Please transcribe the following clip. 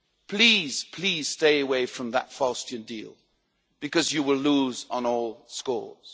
Please, please, stay away from that Faustian deal, because you will lose on all scores.